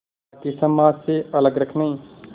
बाक़ी समाज से अलग रखने